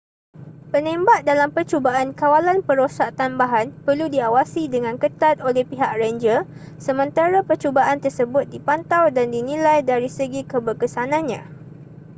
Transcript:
penembak dalam percubaan kawalan perosak tambahan perlu diawasi dengan ketat oleh pihak renjer sementara percubaan tersebut dipantau dan dinilai dari segi keberkesanannya